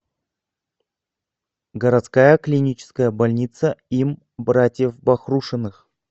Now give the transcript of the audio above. городская клиническая больница им братьев бахрушиных